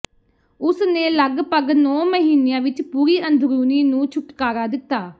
ਉਸਨੇ ਲਗਭਗ ਨੌਂ ਮਹੀਨਿਆਂ ਵਿੱਚ ਪੂਰੀ ਅੰਦਰੂਨੀ ਨੂੰ ਛੁਟਕਾਰਾ ਦਿਤਾ